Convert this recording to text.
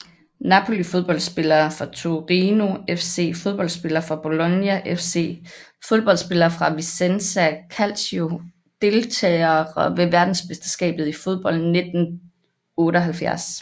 Napoli Fodboldspillere fra Torino FC Fodboldspillere fra Bologna FC Fodboldspillere fra Vicenza Calcio Deltagere ved verdensmesterskabet i fodbold 1978